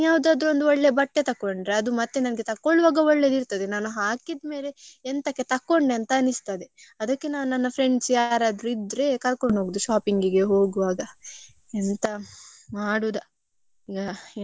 ಎಂತಕ್ಕೆ ತೊಕೊಂಡೆ ಅಂತ ಅನಿಸ್ತದೆ ಅದಿಕ್ಕೆ ನಾನು ನನ್ friends ಯಾರಾದ್ರೂ ಇದ್ರೆ ಕರ್ಕೊಂಡು ಹೋಗುದು shopping ಇಗೆ ಹೋಗ್ವಾಗ. ಎಂತ ಮಾಡುದ ಈಗ ಎಂತ ಮಾಡುದಂತ ಗೊತ್ತಾಗ್ತಿಲ್ಲ ಅದು ಸಹ ನಾಳೆ.